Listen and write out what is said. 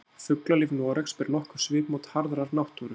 Fuglalíf Noregs ber nokkuð svipmót harðrar náttúru.